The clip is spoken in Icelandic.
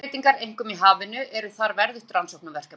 Umhverfisbreytingar, einkum í hafinu, eru þar verðugt rannsóknarefni.